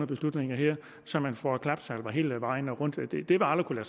beslutninger her så man får klapsalver hele vejen rundt det vil aldrig